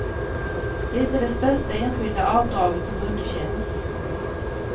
Det är det största enskilda avdraget som underkänns.